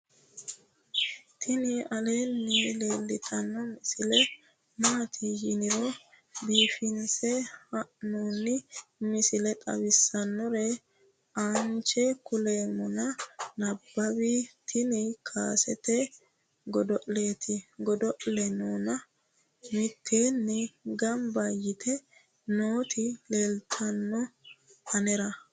tini aleenni leeltanno misile maati yiniro biifinse haa'noni misile xawisssannore aanche kuleemmona nabawi tini kaasete godo'leeti godo'laanono mitteenni gamba yite nooti leelltannoe anera